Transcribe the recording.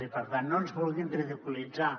i per tant no ens vulguin ridiculitzar